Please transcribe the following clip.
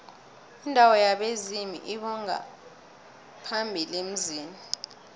indawo yabezimu lbongaphambili emzini